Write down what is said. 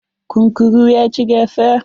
Kunkurun ya ci gasa.